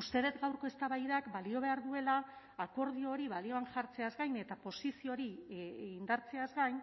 uste dut gaurko eztabaidak balio behar duela akordio hori balioan jartzeaz gain eta posizio hori indartzeaz gain